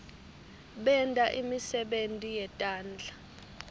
benta imisebenti yetandla